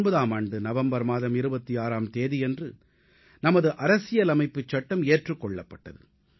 1949ஆம் ஆண்டு நவம்பர் மாதம் 26ஆம் தேதியன்று நமது அரசியலமைப்புச் சட்டம் ஏற்றுக் கொள்ளப்பட்டது